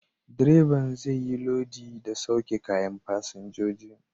Direban zai yi lodi da sauke kayan fasinjoji.